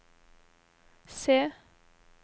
se